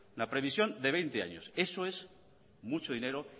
la previsión de veinte años eso es mucho dinero